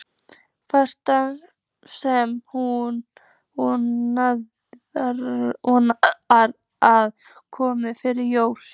franka sem hún vonar að komi fyrir jólin.